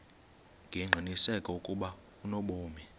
ngengqiniseko ukuba unobomi